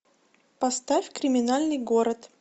поставь криминальный город